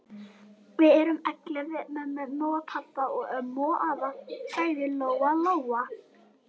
Við erum ellefu með mömmu og pabba og ömmu og afa, sagði Lóa-Lóa.